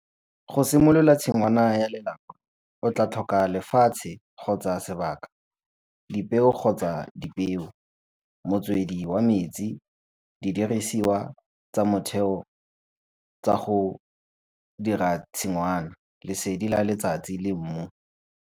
Go simolola tshingwana ya lelapa o tla tlhoka lefatshe kgotsa , dipeo kgotsa , motswedi wa metsi, di dirisiwa tsa motheo tsa go dira tshingwana, lesedi la letsatsii le mmu.